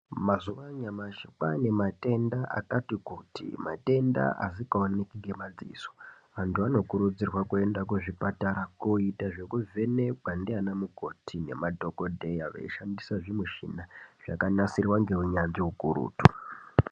Mazuva ano anyamashi kwaane matenda akati kuti, matenda akati wandei semadziso. Vantu vanokurudzirwa kuenda kuzvipatara kunoita zvekuvhenekwa ndiana mukoti nemadhokodheya veishandisa zvimichina zvakanasirwa neunyanzvi ukurutu.